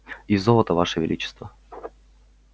и золото ваше величество